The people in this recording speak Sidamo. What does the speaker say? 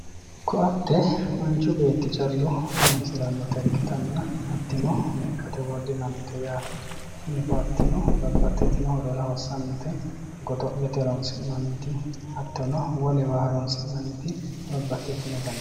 Koatte manchu beetti callu horoonsirannota ikkitanna hattino lekkate wodhinannite yaate tini koatteno babbaxxitino horora hossannote kaase godo'late horoonsi'nanniti hattono wolewa horoonsi'nanniti babbaxxitinota